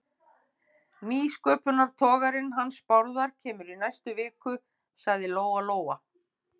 Nýsköpunartogarinn hans Bárðar kemur í næstu viku, sagði Lóa-Lóa.